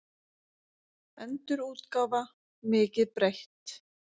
Endurútgáfa, mikið breytt.